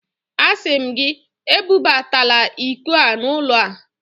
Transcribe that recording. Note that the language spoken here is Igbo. Asị m gị, ebubatala iko a n'ụlọ a!